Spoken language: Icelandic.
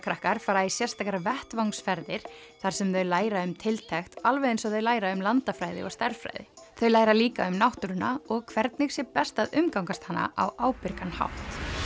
grunnskólakrakkar fara í sérstakar vettvangsferðir þar sem þau læra um tiltekt alveg eins og þau læra um landafræði og stærðfræði þau læra líka um náttúruna og hvernig sé best að umgangast hana á ábyrgan hátt